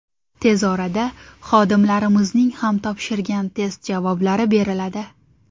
Tez orada xodimlarimizning ham topshirgan test javoblari beriladi.